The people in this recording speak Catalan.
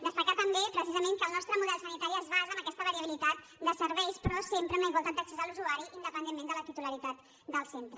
destacar també precisament que el nostre model sanitari es basa en aquesta variabilitat de serveis però sempre amb la igualtat d’accés de l’usuari independentment de la titularitat del centre